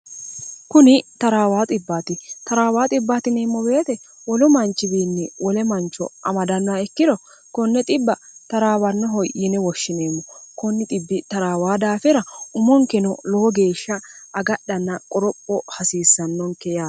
kuni taraawa taraawa bateemmo beete wolu manchiwiinni wole mancho amadannoha ikkiro konne 0 traawannoho yine woshshineemmo ko traawa daafira umonkeno lowo geeshsha agadhanna qoropho hasiissannonke yare